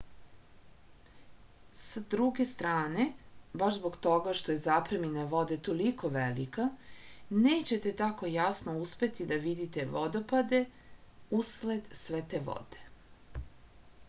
s druge strane baš zbog toga što je zapremina vode toliko velika nećete tako jasno uspeti da vidite vodopade usled sve te vode